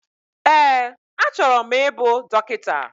Ee, achọrọ m ịbụ dọkịta.